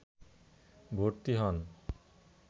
ভর্তি হন